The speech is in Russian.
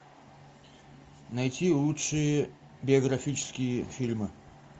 найти лучшие биографические фильмы